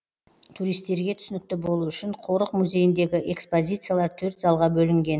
туристерге түсінікті болу үшін қорық музейіндегі экспозициялар төрт залға бөлінген